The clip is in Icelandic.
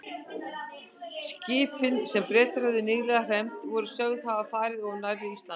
Skipin, sem Bretar höfðu nýlega hremmt, voru sögð hafa farið of nærri Íslandi.